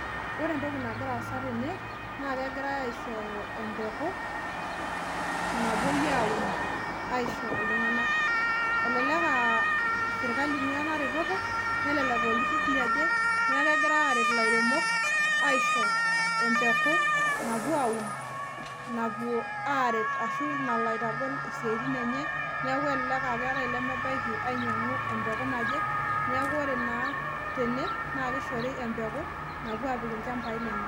Ore etoki nagira aasa tene naa, kegirae aishooyo epuku, napoi aun aisho iltunganak. Elelek ah sirkali eingua ena reteto, nelelek ah olturur liaje neaku kegirae aret ilairemok aisho epuku, napuo aun, napuo aret ashu, nalo aitogol isiatin enye. Neaku elelek ah ore olemebaiki alo ainyiangu epuku naje neaku ore naa tene, naa kishori epuku napuo apik ilchambai lenye.